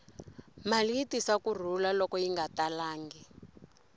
mali yi tisa ku rhula loko yi nga talangi